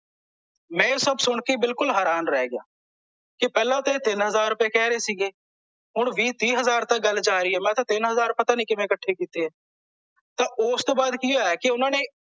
ਮੈਂ ਇਹ ਸਭ ਸੁਣਕੇ ਬਿਲਕੂਲਲ ਹੈਰਾਨ ਰਹਿ ਗਿਆ ਪਹਿਲਾਂ ਤੇ ਇਹ ਤਿੰਨ ਹਜ਼ਾਰ ਰੁਪਏ ਕਹਿ ਰਹੇ ਸੀ ਗੇ ਹੁਣ ਵੀਹ ਤੀਹ ਹਜ਼ਾਰ ਤਕ ਗੱਲ ਜਾ ਰਹਿ ਹੈ ਮੈਂ ਤਾਂ ਤਿੰਨ ਹਜ਼ਾਰ ਰੁਪਏ ਪਤਾ ਨਹੀਂ ਕਿਵੇ ਇਕੱਠੇ ਕਿਤੇ ਆ ਤਾਂ ਓਸਤੋਂ ਬਾਅਦ ਕਲਿ ਹੋਇਆ ਕੀ ਓਹਨਾਂ ਨੇ